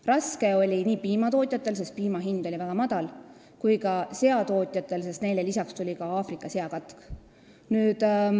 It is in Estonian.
Raske oli nii piimatootjatel, sest piima hind oli väga madal, kui ka seakasvatajatel, sest lisaks oli Eestis Aafrika seakatk.